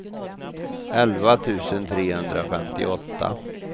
elva tusen trehundrafemtioåtta